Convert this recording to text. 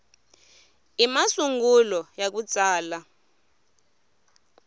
i masungulo ya ku tsala